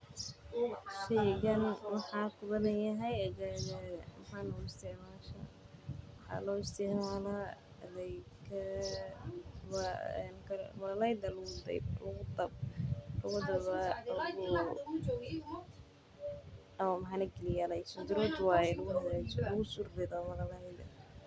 Sheygan maku badan yahay aagaaga maxaad u isticmasha waxaa loo isticmaala meel lagu surtaa.